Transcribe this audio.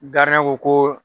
Gardiɲɛn ko ko